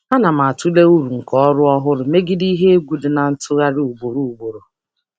Ana m atụle uru nke ọrụ ọhụrụ megide ihe egwu nke mgbanwe ugboro ugboro.